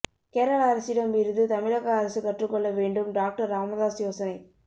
கேரள அரசிடம் இருந்து தமிழக அரசு கற்றுக்கொள்ள வேண்டும் டாக்டர் ராமதாஸ் யோசனை